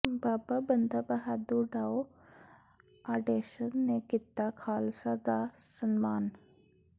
ਬਾਬਾ Banda Bahadur foundation ਨੇ ਕੀਤਾ ਖ਼ਾਲਸਾ ਦਾ ਸਨਮਾਨ